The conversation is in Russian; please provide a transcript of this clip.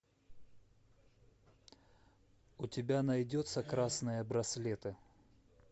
у тебя найдется красные браслеты